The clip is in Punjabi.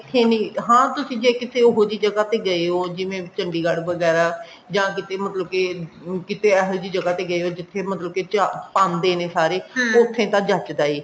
ਇੱਥੇ ਵੀ ਹਾਂ ਤੁਸੀਂ ਜੇ ਕਿਤੇ ਇਹੋ ਜਿਹੀ ਜਗ੍ਹਾ ਤੇ ਗਏ ਉਹ ਜਿਵੇਂ ਚੰਡੀਗੜ੍ਹ ਵਗੈਰਾ ਜਾਂ ਕਿਤੇ ਮਤਲਬ ਕੇ ਅਮ ਕਿਤੇ ਇਹੀ ਜਿਹੀ ਜਗ੍ਹਾ ਤੇ ਗਏ ਓ ਜਿੱਥੇ ਮਤਲਬ ਕੇ ਪਾਂਦੇ ਨੇ ਸਾਰੇ ਉੱਥੇ ਤਾਂ ਜਚਦਾ ਐ